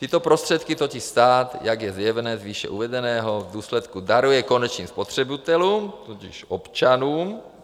Tyto prostředky totiž stát, jak je zjevné z výše uvedeného, v důsledku daruje konečným spotřebitelům, tudíž občanům.